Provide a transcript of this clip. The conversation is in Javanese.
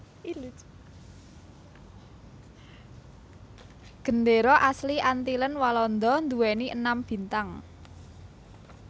Gendéra asli Antillen Walanda nduwèni enam bintang